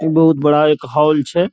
बहुत बड़ा एक हॉल छे।